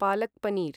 पालक् paneer